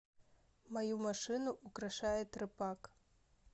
мою машину украшает рэпак